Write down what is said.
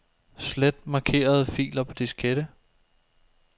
Slet markerede filer på diskette.